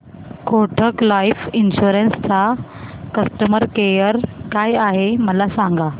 Kotak life insurance चा customer care काय आहे मला सांगा